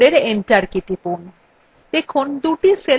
keyবোর্ডএর enter key টিপুন